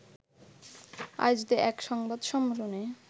আয়োজিত এক সংবাদ সম্মেলনে